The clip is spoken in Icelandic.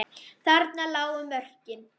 Þarna lágu mörkin.